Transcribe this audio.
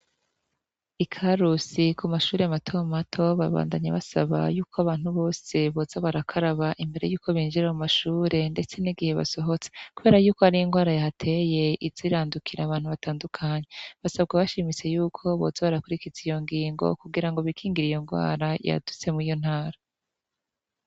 I karusi kumashure matomato baguma basaba ko boza barakaraba igihe basohotse Kubera ko hari ingwara yateye iza irandukira abantu batandukanye basabwa bashimitse ko boza barakwirikiza iyo ngingo kugira bikingire iyo ngwara yadutse muriyo ntara.